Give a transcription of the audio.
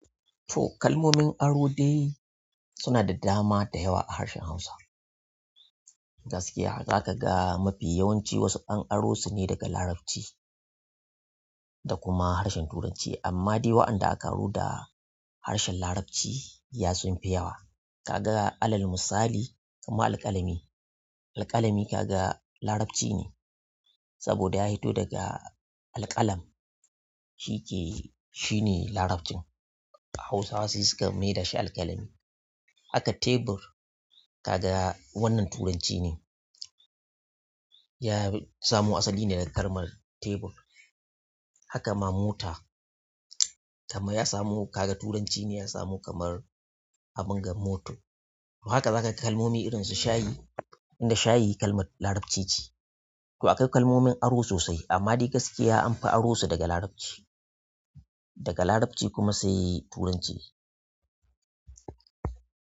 To kalmomin aro dai suna da dama da yawa a harshen Hausa. Gaskiya haka zakaga mafi yawanci wasu an aro sune daga Larabci da kuma harshen Turanci amma dai wa'anda aka aro da harshen Larabci ya sunfi yawa. Kaga alal misali kamar alƙalami, alƙalami kaga Larabci ne saboda ya fito daga alƙalam shike-- shine labarin. Hausawa dai suka maida shi alƙalami. Haka tebur kaga wannan Turanci ne, ya samo asali ne daga kamar tebur. Haka ma mota kamar ya samu kaga Turanci ne ya samu kamar abinga moto. To haka zakaga kalmomi irin su shayi, inda shayi kalmar Larabci ce. To akwai kalmomin aro sosai amma dai gaskiya anfi aro su daga Larabci, daga Larabci kuma sai Turanci.